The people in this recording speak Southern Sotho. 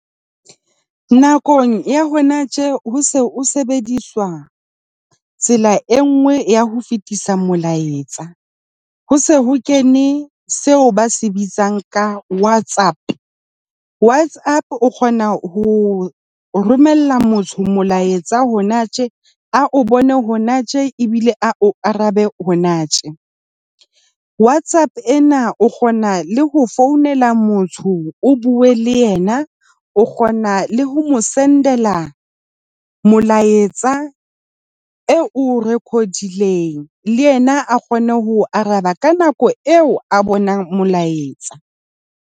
Nakong ya hona tje ho se o sebediswa tsela e nngwe ya ho fetisa molaetsa. Ho se ho kene seo ba se bitsang ka WhatsApp. WhatsApp o kgona ho romella motho molaetsa hona tje. A o bone hona tje ebile a o arabe hona tje. Whatsapp ena o kgona le ho founela motho, o bue le yena. O kgona le ho mo send-ela molaetsa eo o record-ileng le yena a kgone ho o araba ka nako eo a bonang molaetsa.